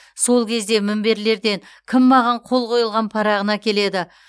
сол кезде мінберлерден кім маған қол қойылған парағын әкеледі